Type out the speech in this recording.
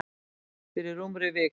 Fyrir rúmri viku.